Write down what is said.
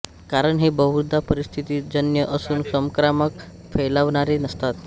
कारण हे बहुधा परिस्थितिजन्य असून संक्रामक फैलावणारे नसतात